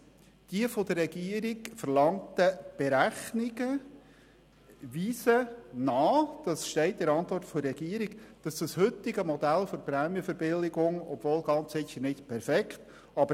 Zweitens: Die von der Regierung vorgelegten Berechnungen weisen nach, dass das heutige Modell der Prämienverbilligung eine spürbare Wirkung erzielt, obwohl es ganz sicher nicht perfekt ist.